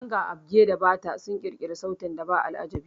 Ganga, agbe, da bata sun ƙirƙiri sautin ba aljabi